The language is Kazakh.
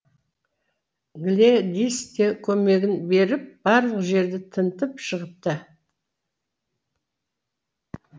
глэдис те көмегін беріп барлық жерді тінтіп шығыпты